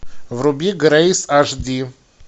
вруби грейс аш ди